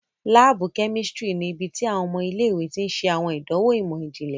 Laabu kẹ́místrì ní ibití awọn ọmọ ilé-ìwé tí n ṣe awọn àdánwò imọ-jinlẹ